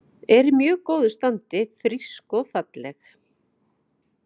Er í mjög góðu standi, frísk og falleg.